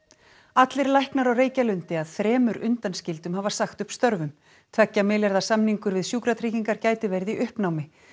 allir læknar á Reykjalundi að þremur undanskildum hafa sagt upp störfum tveggja milljarða samningur við Sjúkratryggingar gæti verið í uppnámi